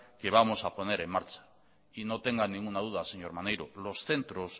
que vamos a poner en marcha y no tengan ninguna duda señor maneiro los centros